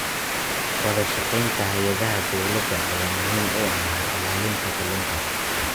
Wadashaqeynta hay'adaha dowladda ayaa muhiim u ah ilaalinta kalluunka.